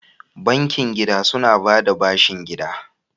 Bankin gida suna ba da bashin gida.